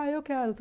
Ah, eu quero.